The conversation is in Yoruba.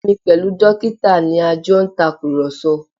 Èmi pẹ̀lú dókítà ni a jọ ń tàkùrọ̀sọ